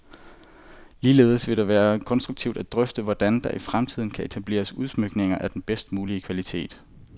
Ligeledes vil det være konstruktivt at drøfte, hvordan der i fremtiden kan etableres udsmykninger af den bedst mulige kvalitet.